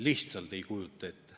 Lihtsalt ei kujuta ette.